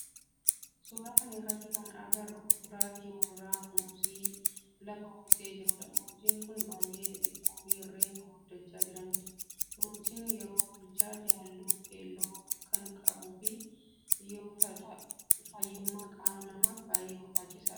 Suuraa kana irratti kana agarru kuduraa fi muduraa keessaa muuzii lafa uwwisee jirudha. Muuziin kun baayyee xixiqqoo fi reefu guddachaa jiranidha. Muuziin yeroo bilchaate halluu keelloo kan qabu yoo ta'u fayyummaa qaama namaaf baayyee barbaachisaadha.